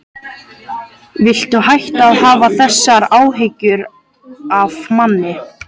Viltu hætta að hafa þessar áhyggjur af manni!